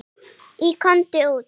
Í Komdu út!